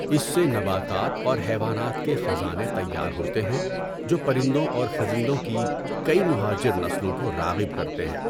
اس سے نباتات اور حیوانات کے خزانے تیار ہوتے ہیں جو پرندوں اور خزندوں کی کئی مہاجر نسلوں کو راغب کرتے ہیں۔